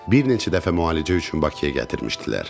Bir neçə dəfə müalicə üçün Bakıya gətirmişdilər.